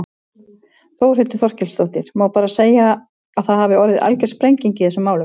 Þórhildur Þorkelsdóttir: Má bara segja að það hafi orðið algjör sprenging í þessum málum?